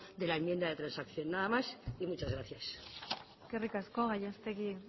de la enmienda de transacción nada más y muchas gracias eskerrik asko gallastegui